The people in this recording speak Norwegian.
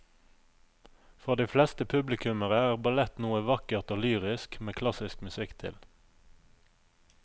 For de fleste publikummere er ballett noe vakkert og lyrisk med klassisk musikk til.